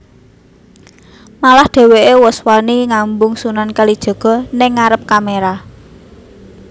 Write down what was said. Malah dheweké wus wani ngambung Sunan Kalijaga ning ngarep kamera